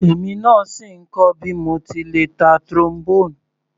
Èmi náà sì ń kọ́ bí mo ti le ta Trombone.